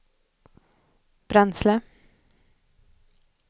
bränsle